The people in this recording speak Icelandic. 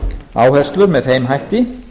áherslur með þeim hætti